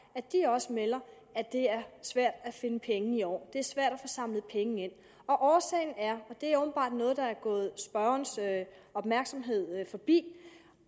også melder at det er svært at finde penge i år det er svært at få samlet penge ind og årsagen er og det er åbenbart noget der er gået spørgernes opmærksomhed forbi